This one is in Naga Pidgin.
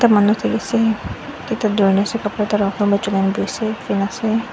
manu thaki ase chulai na buhi ase fan ase.